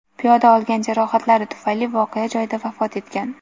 Piyoda olgan jarohatlari tufayli voqea joyida vafot etgan.